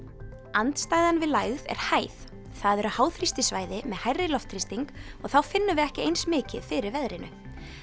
andstæðan við lægð er hæð það eru með hærri loftþrýsting og þá finnum við ekki eins mikið fyrir veðrinu